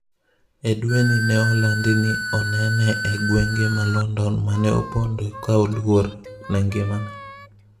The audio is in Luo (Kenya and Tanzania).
E dweni ne olandi ni enene e gwenge ma London mane oponde ka oluor ne ngimane.